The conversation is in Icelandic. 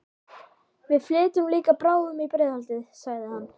Við flytjum líka bráðum í Breiðholtið, sagði hann.